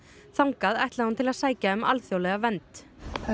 þangað ætlaði hún til að sækja um alþjóðlega vernd